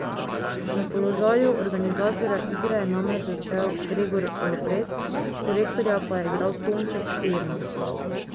Na položaju organizatorja igre je namreč začel Gregor Ropret, korektorja pa je igral Tonček Štern.